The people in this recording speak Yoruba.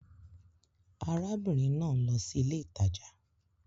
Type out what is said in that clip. Ará bìnrin náà ń lo sí ilé ìtajà